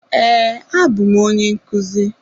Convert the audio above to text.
Ee abụ m onye nkuzi.